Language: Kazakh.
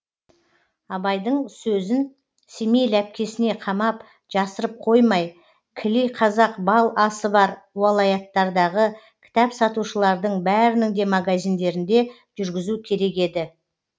абайдың сөзін семей ләпкесіне қамап жасырып қоймай кіли қазақ бал асы бар уалаяттардағы кітап сатушылардың бәрінің де магазиндерінде жүргізу керек еді